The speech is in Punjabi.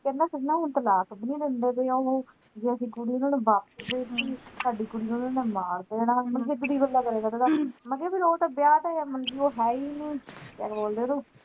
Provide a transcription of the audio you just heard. ਕਹਿੰਦੇ ਹੁਣ ਤਲਾਕ ਵੀ ਨੀ ਦਿੰਦੇ ਪੈ ਉਹ ਜ ਅਸੀਂ ਕੁੜੀ ਉਨ੍ਹਾਂ ਨੂੰ ਵਾਪਿਸ ਦੇ ਦਿੱਤੀ ਸਾਡੀ ਕੁੜੀ ਨੂੰ ਉਨ੍ਹਾਂ ਮਾਰ ਦੇਣਾ ਮੈਂ ਕਿਹਾ ਫਿਰ ਤਾਂ ਵਿਆਹ ਤਾਂ ਮਤਲਬ ਕਿ ਉਹ ਹੈ ਈ ਨੀ ਡਿਵੋਰਸੇ ਦੇਦੋ